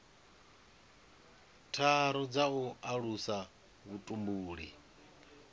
tharu dza u alusa vhutumbuli